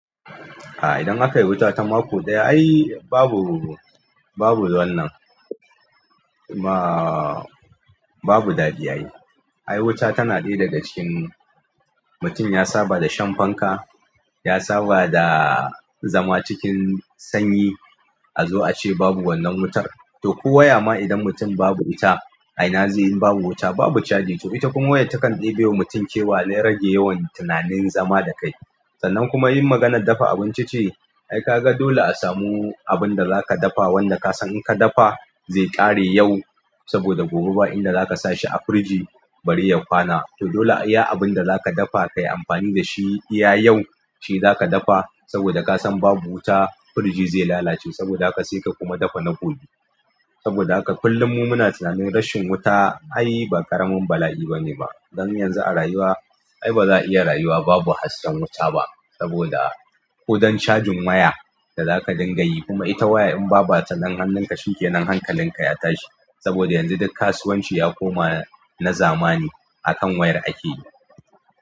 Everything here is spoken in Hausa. Idan aka yi wuta ta mako ɗaya ai babu, babu wannan, ba. Babu daɗi ai. Ai wuta tana ɗaya daga cikin mutum ya saba da shan fanka, ya saba da zama cikin sanyi a zo a ce babu wannan wutar. To ko waya ma idan mutum babu wuta a ina zai yi in babu wuta babu caji to ita kuma wayar takan ɗibewa mutum kewa na rage yawan tunanin zama da kai. Sannan kuma in maganar dafa abinci ce ai kaga dole a samu abinda zaka dafa wanda ka san in ka dafa zai ƙare yau saboda gobe ba inda zaka sa shi a firiji bare ya kwana. To dole a iya abinda zaka dafa kayi amfani da shi iya yau shi zaka dafa saboda ka san babu wuta firiji zai lalace saboda haka sai ka kuma dafa na gobe. Saboda haka kullum mu muna tunanin rashin wuta ai ba ƙaramin bala'i bane ba. Don yanzu a rayuwa ai ba za'a iya rayuwa babu hasken wuta ba saboda ko don cajin waya da zaka dinga yi kuma ita waya in ba bata nan hannunka shikenan hankalinka ya tashi, saboda yanzu duk kasuwanci ya koma na zamani akan wayar ake yi.